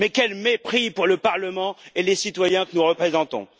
Quel mépris pour le Parlement et les citoyens que nous représentons!